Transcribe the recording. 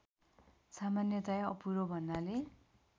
सामान्यतया अपुरो भन्नाले